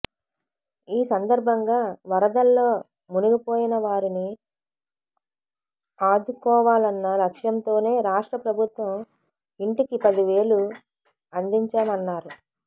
ఈ సందర్భంగా వరదల్లో మునిగిపోయిన వారిని ఆదుకుకోవాలన్న లక్షంతోనే రాష్ట్ర ప్రభుత్వం ఇంటికి పదివేలు అందించామన్నారు